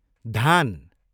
धान